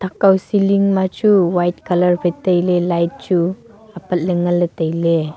thak kaw ceiling ma chu white colour phai tailey light chu apatley nganley tailey.